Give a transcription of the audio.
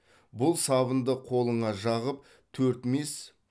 бұл сабынды қолыңа жағып төрт мес